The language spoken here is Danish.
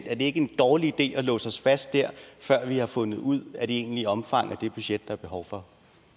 er det ikke en dårlig idé at låse os fast der før vi har fundet ud af det egentlige omfang af det budget der er behov for